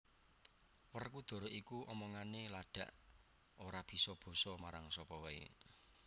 Werkudara iku omongane ladak ora bisa basa marang sapa wae